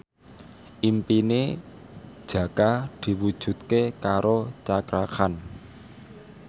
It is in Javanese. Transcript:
impine Jaka diwujudke karo Cakra Khan